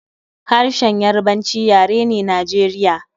Harshen Yarabanci yare ne Najeriya